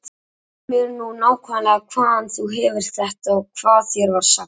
Segðu mér nú nákvæmlega hvaðan þú hefur þetta og hvað þér var sagt.